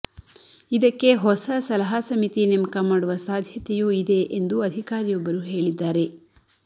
ಇದಕ್ಕೆ ಹೊಸ ಸಲಹಾ ಸಮಿತಿ ನೇಮಕ ಮಾಡುವ ಸಾಧ್ಯತೆಯೂ ಇದೆ ಎಂದು ಅಧಿಕಾರಿಯೊಬ್ಬರು ಹೇಳಿದ್ದಾರೆ